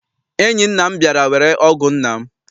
Enyi nna m bịara were ọgụ nna m.